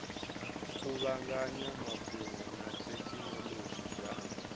kuvhanganya mafhungo na thekhinolodzhi dza